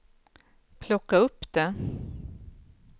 plocka upp det